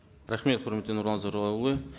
рахмет құрметті нұрлан зайроллаұлы